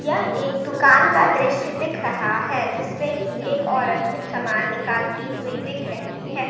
यह एक दुकान का दृश्य दिख रहा है जिस पे की एक औरत कुछ सामान निकालती हुई दिख रही है।